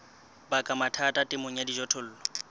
baka mathata temong ya dijothollo